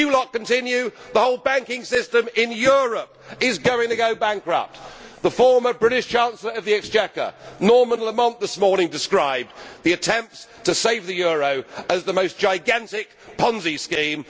If you lot continue, the whole banking system in Europe is going to go bankrupt. The former British Chancellor of the Exchequer, Norman Lamont, this morning described the attempts to save the euro as the most gigantic Ponzi scheme.